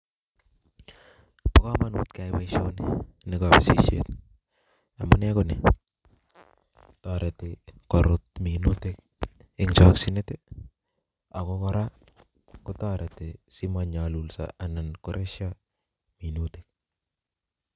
Boo komonut kee nyai boisonitok nebo kabisishet amuu nee konii toroti korut minutik eng chakchinet ak ko kora kotoreti si manyaaluso anan ko reshoo minutik